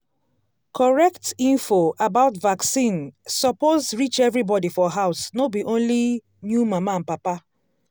correct info about vaccine suppose reach everybody for house no be only new mama and papa.